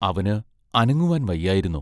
അവന് അനങ്ങുവാൻ വയ്യായിരുന്നു.